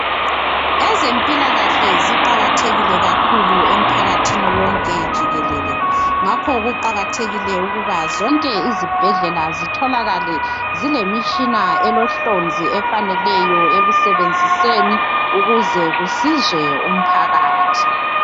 Ezempilakahle ziqakatheile kakhulu emphakathini wonke jikelele ngakho kuqakathekile ukuba zonke izibhedlela zitholakale zilemtshina elohlonzi efaneleyo ekusebenziseni ukuze kusizwe umphakathi.